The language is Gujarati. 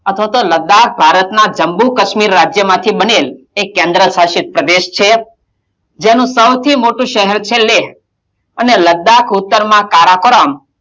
અથવા તો લદ્દાક ભારતનાં જમ્મુ - કશ્મીર રાજ્યમાંથી બનેલ એક કેન્દ્ર્શાસિત પ્રદેશ છે જેનું સૌથી મોટું શહેર છે લેહ અને લદ્દાક ઉતરમાં કારાકરમ,